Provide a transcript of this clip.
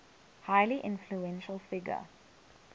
highly influential figure